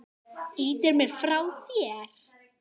Ýtir mér frá þér.